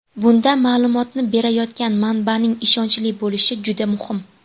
Bunda ma’lumotni berayotgan manbaning ishonchli bo‘lishi juda muhim.